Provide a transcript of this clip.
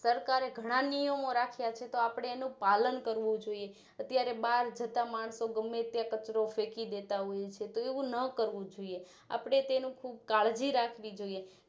સરકારે ઘણા નિયમો રખિયા છે આપણે એનું પાલન કરવું જોઈએ અત્યારે બારજતા માણસો ગમે ત્યાં કચરો ફેકી દેતા હોય છે તો એવું નકરવું જોઈએ આપણે તેનું ખુબ કાળજી રાખવી જોઈએ